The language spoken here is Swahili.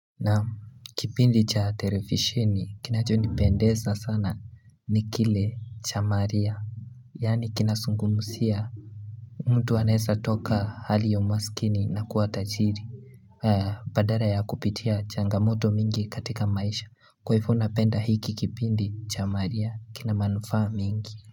Naam, kipindi cha televisheni, kinacho nipendeza sana ni kile cha maria. Yaani kinazungumzia. Mtu anaweza toka hali ya umaskini na kuwa tajiri. Badala ya kupitia changamoto mingi katika maisha. Kwa hivyo napenda hiki kipindi cha maria. Kinamanufaa mingi.